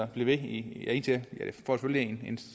blive ved ja det